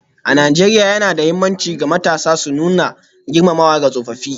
A Najeriya, yana da mahimmanci ga matasa su nuna girmamawa ga tsofaffi.